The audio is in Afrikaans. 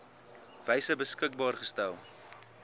wyse beskikbaar gestel